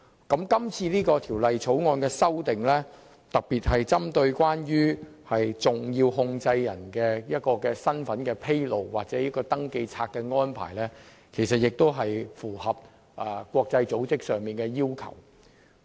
今次《條例草案》的修訂，特別是有關針對重要控制人的身份的披露或登記冊的安排，也是要符合國際組織的要求。